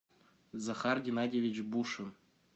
захар геннадьевич бушин